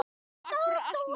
Takk fyrir allt, mamma mín.